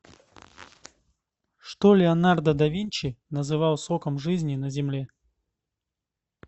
что леонардо да винчи называл соком жизни на земле